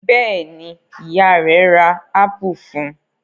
Bẹ́ẹ̀ ni, ìyá rẹ̀ ra ápù fún un.